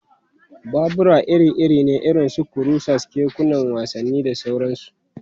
Babura iri-iri ne irin su kurusas, kekunan wasanni, da sauransu.